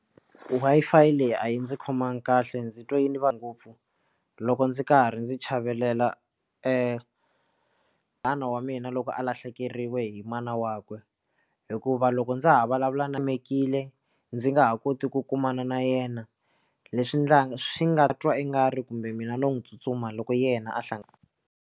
Wi-Fi leyi a yi ndzi khomangi kahle ndzi twa yini va ngopfu loko ndzi karhi ndzi chavelela e nhwana wa mina loko a lahlekeriwe hi mana wakwe ina hikuva loko ndza ha vulavula na timekile ndzi nga ha koti ku kumana na yena leswi swi nga twa i nga ri kumbe mina no n'wi tsutsuma loko yena a hla.